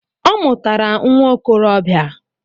Ọ mụtara nwa okorobia